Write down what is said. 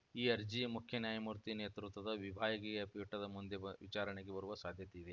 ಈ ಅರ್ಜಿ ಮುಖ್ಯ ನ್ಯಾಯಮೂರ್ತಿ ನೇತೃತ್ವದ ವಿಭಾಗೀಯ ಪೀಠದ ಮುಂದೆ ವಿಚಾರಣೆಗೆ ಬರುವ ಸಾಧ್ಯತೆಯಿದೆ